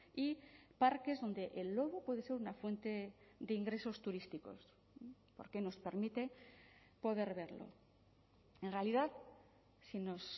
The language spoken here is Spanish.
y parques donde el lobo puede ser una fuente de ingresos turísticos porque nos permite poder verlo en realidad si nos